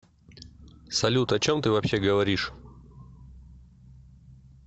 салют о чем ты вообще говоришь